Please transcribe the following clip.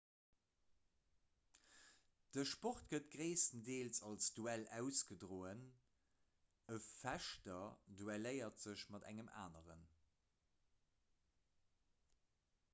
de sport gëtt gréisstendeels als duell ausgedroen ee fechter duelléiert sech mat engem aneren